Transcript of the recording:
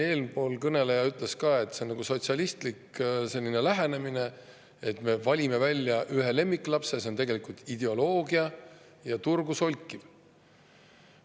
Eelkõneleja ütles ka, et see on nagu sotsialistlik lähenemine, et me valime välja ühe lemmiklapse – see on tegelikult ideoloogia ja turu solkimine.